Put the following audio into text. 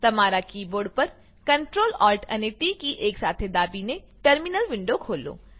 તમારા કીબોર્ડ પર Ctrl Alt અને ટી કી એકસાથે દબાવીને ટર્મીનલ વિન્ડો ખોલો